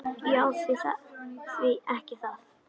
Já, því ekki það.